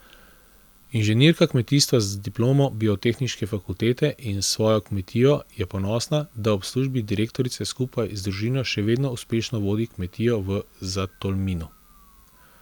Inženirka kmetijstva z diplomo biotehniške fakultete in svojo kmetijo je ponosna, da ob službi direktorice skupaj z družino še vedno uspešno vodi kmetijo v Zatolminu.